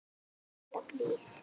Alltaf blíð.